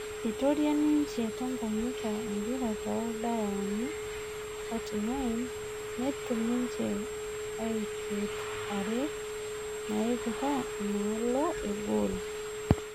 Eitoria ninje Tanganyika empira toldaiani 39, netum ninje ioshot are naipira endaalo egool